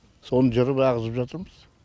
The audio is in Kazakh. соны жырып ағызып жатырмыз